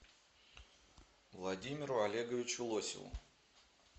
владимиру олеговичу лосеву